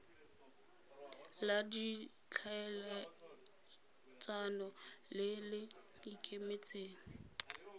la ditlhaeletsano le le ikemetseng